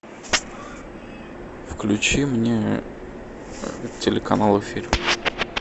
включи мне телеканал эфир